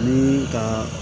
Ni ka